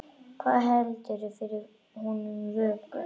Hvað heldur fyrir honum vöku?